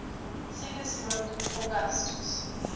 sigismund augustus